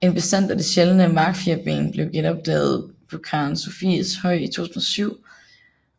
En bestand af det sjældne markfirben blev genopdaget på Karen Sophieshøj i 2007